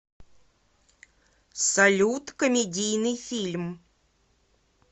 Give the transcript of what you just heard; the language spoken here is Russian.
салют комедийный фильм